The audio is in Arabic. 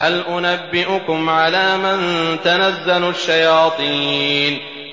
هَلْ أُنَبِّئُكُمْ عَلَىٰ مَن تَنَزَّلُ الشَّيَاطِينُ